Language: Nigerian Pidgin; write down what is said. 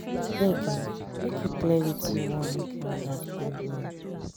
abeg make you clear wetin you want make i understand well.